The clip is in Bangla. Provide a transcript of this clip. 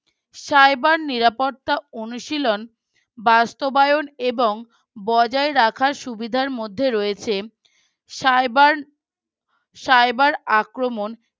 cyber নিরাপত্তা অনুশীলন বাস্তবায়ন এবং বজায় রাখার সুবিধার মধ্যে রয়েছে Cyber Cyber আক্রমন